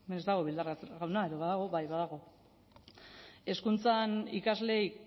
hemen ez dago bildarratz jauna edo badago bai badago hezkuntzan ikasleei